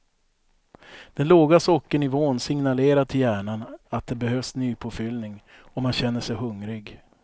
Den låga sockernivån signalerar till hjärnan att det behövs nypåfyllning och man känner sig hungrig.